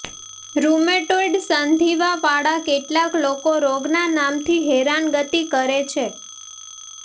rheumatoid સંધિવાવાળા કેટલાક લોકો રોગના નામથી હેરાનગતિ કરે છે